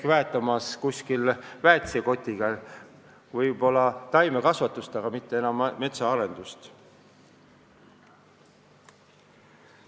Taimekasvatuses kasutatakse väetist küll, aga mitte metsaarenduses.